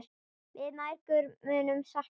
Við mæðgur munum sakna þín.